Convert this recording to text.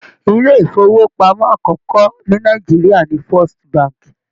Ilé ifowopamọ akọkọ ni Nàìjíríà ní Firstbank.